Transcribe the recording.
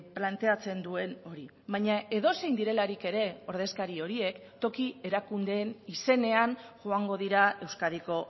planteatzen duen hori baina edozein direlarik ere ordezkari horiek toki erakundeen izenean joango dira euskadiko